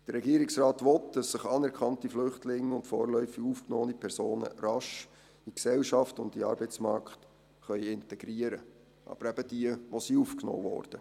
Der Regierungsrat will, dass sich anerkannte Flüchtlinge und vorläufig aufgenommene Personen rasch in die Gesellschaft und in den Arbeitsmarkt integrieren können – aber eben diejenigen, die aufgenommen wurden.